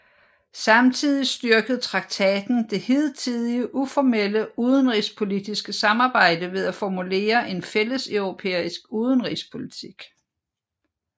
Samtidig styrkede traktaten det hidtidige uformelle udenrigspolitiske samarbejde ved at formulere en fælles europæisk udenrigspolitik